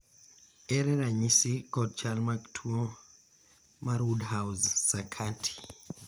ere ranyisi kod chal mag tuo mar woodhouse sakati